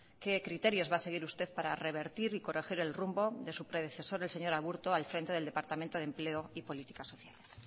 qué criterios va a seguir usted para revertir y corregir el rumbo de su predecesor señor aburto al frente del departamento de empleo y políticas sociales